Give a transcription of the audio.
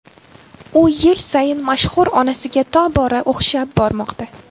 U yil sayin mashhur onasiga tobora o‘xshab bormoqda.